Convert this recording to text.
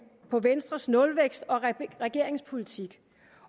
på venstres nulvækst og regeringens politik